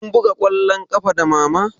Kun buga ƙwallon ƙafa da mama?